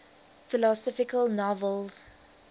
philosophical novels